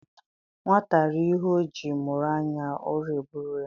Nwata rie ihe o jii mụrụ anya, ụra eburu ya